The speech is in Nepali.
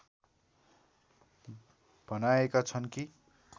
भनाएका छन् कि